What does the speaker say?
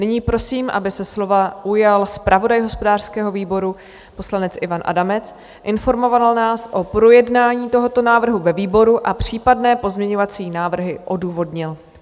Nyní prosím, aby se slova ujal zpravodaj hospodářského výboru poslanec Ivan Adamec, informoval nás o projednání tohoto návrhu ve výboru a případné pozměňovací návrhy odůvodnil.